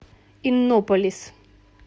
иннополис